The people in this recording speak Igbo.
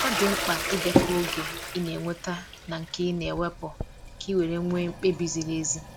ọ di mkpa idekọ oge i na enweta na nke ị na wepụ ka iwere nwe mkpebi ziri ezi.